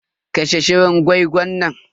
Kashe shirin gwai-gwan nan.